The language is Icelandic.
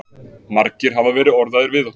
Margir hafa verið orðaðir við okkur